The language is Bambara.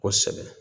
Kosɛbɛ